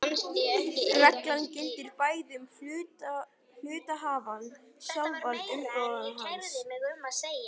Reglan gildir bæði um hluthafann sjálfan og umboðsmann hans.